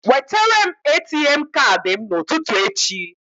Wetere m ATM Kaadị m n'ụtụtụ echi.